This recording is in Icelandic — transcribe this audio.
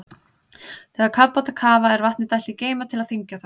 Þegar kafbátar kafa er vatni dælt í geyma til að þyngja þá.